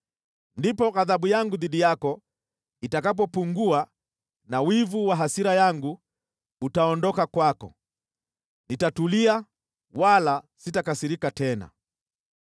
Ndipo ghadhabu yangu dhidi yako itakapopungua na wivu wa hasira yangu utaondoka kwako. Nitatulia wala sitakasirika tena.